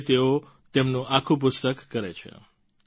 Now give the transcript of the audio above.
હવે તેઓ તેમનું આખું પુસ્તક કરે છે